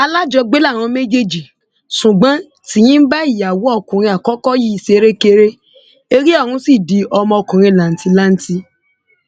alájọgbé làwọn méjèèjì ṣùgbọn tìnyí ń bá ìyàwó ọkùnrin àkọkọ yìí ṣerékeré eré ọhún sì di ọmọ ọkùnrin làǹtìlanti